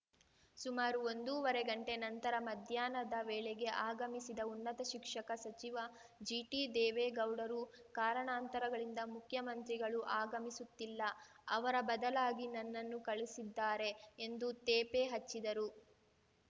ಸುಮಾರು ಒಂದೂವರೆ ಗಂಟೆ ನಂತರ ಮಧ್ಯಾಹ್ನದ ವೇಳೆಗೆ ಆಗಮಿಸಿದ ಉನ್ನತ ಶಿಕ್ಷಕ ಸಚಿವ ಜಿಟಿದೇವೇಗೌಡರು ಕಾರಣಾಂತರಗಳಿಂದ ಮುಖ್ಯಮಂತ್ರಿಗಳು ಆಗಮಿಸುತ್ತಿಲ್ಲ ಅವರ ಬದಲಾಗಿ ನನ್ನನ್ನು ಕಳಿಸಿದ್ದಾರೆ ಎಂದು ತೇಪೆ ಹಚ್ಚಿದರು